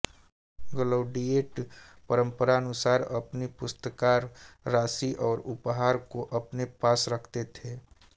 gladiator परम्परानुसार अपनी पुरस्कार राशि और उपहार को अपने पास रखते थे